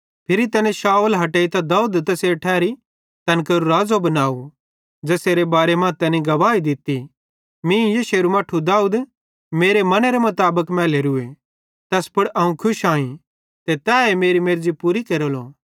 फिरी तैनी शाऊल हटेइतां दाऊद तैसेरी ठैरी तैन केरो राज़ो बनाव ज़ेसेरे बारे मां तैनी गवाही दित्ती मीं यिशैरू मट्ठू दाऊद मेरे मनेरे मुताबिक मैलोरूए तैस पुड़ अवं खुश आईं ते तैए मेरी मर्ज़ी पूरी केरेलो